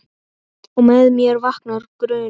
Og með mér vaknar grunur.